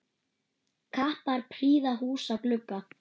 Kappar prýða húsa glugga.